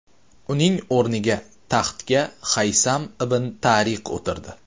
Uning o‘rniga taxtga Haysam ibn Tariq o‘tirdi.